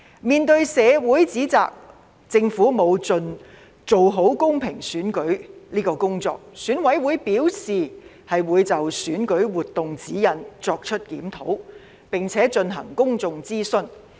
面對社會提出政府沒有盡量做好公平選舉的指摘，選舉管理委員會表示會就選舉活動指引作出檢討，並且進行公眾諮詢。